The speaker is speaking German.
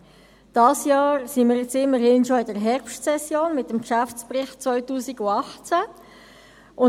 Dieses Jahr nun sind wir immerhin schon in der Herbstsession mit dem Geschäftsbericht 2018.